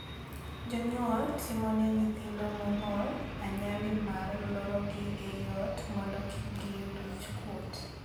Jonyuol timone nyithindo mong'ol anyali mar lorogi ei ot mondo kik giyud wich kuot.